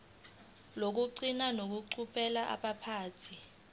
lokugcina ngokucubungula amaphutha